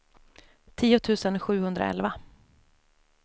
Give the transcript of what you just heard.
tio tusen sjuhundraelva